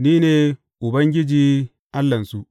Ni ne Ubangiji Allahnsu.